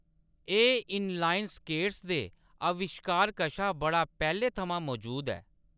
एह्‌‌ inline skates दे अविश्कार कशा बड़ा पैह्‌‌‌ले थमां मजूद ऐ।